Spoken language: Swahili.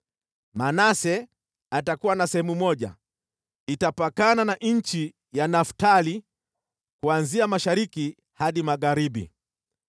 “Manase atakuwa na sehemu moja, itapakana na nchi ya Naftali kuanzia mashariki hadi magharibi.